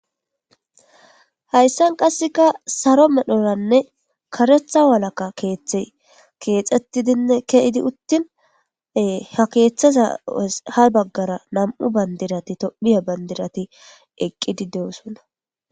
hayssan qasseka saro medhoranne karetha walaka keeththey keexettidinne keidi uttin ha keeththaza ha baggara nam7u bandirati tophiya bandirati eqqidi de7osonna